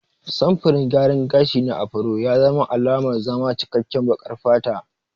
Samfurin gyaran gashi na Afro ya zama alamar zama cikkaken baƙar fata.